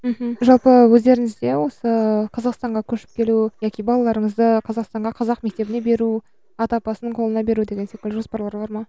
мхм жалпы өздеріңізде осы қазақстанға көшіп келу яки балаларыңызды қазақстанға қазақ мектебіне беру ата апасының қолына беру деген секілді жоспарлар бар ма